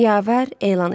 Yavər elan etdi.